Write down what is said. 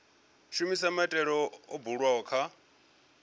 shumisa maitele o bulwaho kha